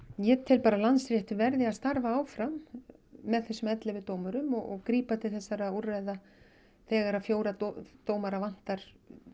ég tel að Landsréttur verði að starfa áfram með þessum ellefu dómurum og grípa til þessara úrræða þegar fjóra dómara vantar